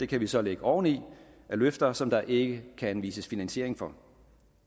kan vi så lægge oven i løfter som der ikke kan anvises finansiering for